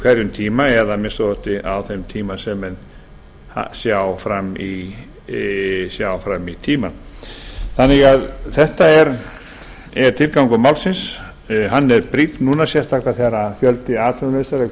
hverjum tíma eða að minnsta kosti á þeim tíma sem menn sjá fram í tímann þetta er tilgangur málsins hann er brýnn núna sérstaklega þegar fjöldi atvinnulausra er kominn